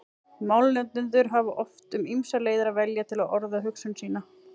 Málnotendur hafa oft um ýmsar leiðir að velja til að orða hugsun sína.